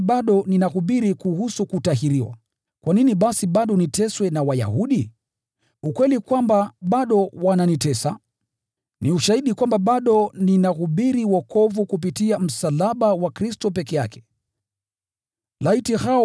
Lakini ndugu zangu, kama mimi bado ninahubiri kuhusu kutahiriwa, kwa nini bado ninateswa? Katika hiyo hali basi, kwazo la msalaba limeondolewa.